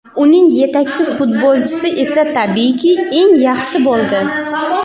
Uning yetakchi futbolchisi esa tabiiyki, eng yaxshi bo‘ldi.